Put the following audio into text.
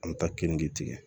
An bɛ taa keninge tigɛ